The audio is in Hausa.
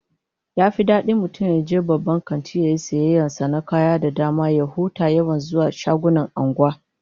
Yafi dadi mutum yaje babban kanti yayi sayayyar sa na kaya da dama ya huta da yawan zuwa shagunan anguwa